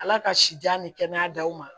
Ala ka sijan ni kɛnɛya daw ma